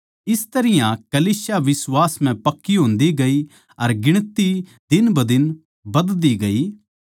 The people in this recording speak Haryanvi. इस तरियां कलीसिया बिश्वास म्ह पक्की होंदी गई अर गिणती दिनबदिन बधती गई